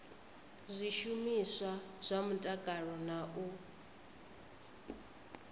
zwishumiswa zwa mutakalo na u